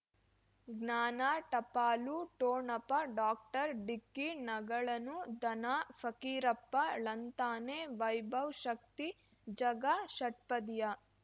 ಜ್ಞಾನ ಟಪಾಲು ಠೋಣಪ ಡಾಕ್ಟರ್ ಢಿಕ್ಕಿ ಣಗಳನು ಧನ ಫಕೀರಪ್ಪ ಳಂತಾನೆ ವೈಭವ್ ಶಕ್ತಿ ಝಗಾ ಷಟ್ಪದಿಯ